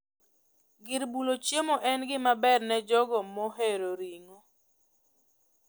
Gir bulo chiemo en gima ber ne jogo mohero ring'o